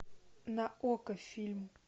на окко фильм